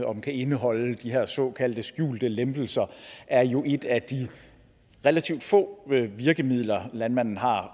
om kan indeholde de her såkaldte skjulte lempelser er jo et af de relativt få virkemidler landmanden har